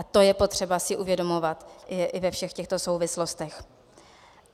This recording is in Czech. A to je potřeba si uvědomovat i ve všech těchto souvislostech.